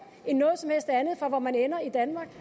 end noget som helst andet for hvor man ender i danmark